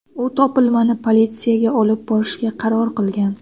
U topilmani politsiyaga olib borishga qaror qilgan.